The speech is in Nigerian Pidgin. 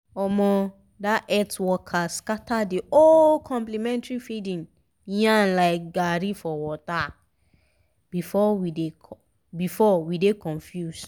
omo! that health worker scatter the whole complementary feeding yarn like garri for water! before we dey confuse